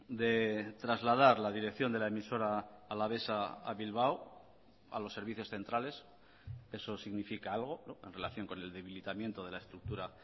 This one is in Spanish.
de trasladar la dirección de la emisora alavesa a bilbao a los servicios centrales eso significa algo en relación con el debilitamiento de la estructura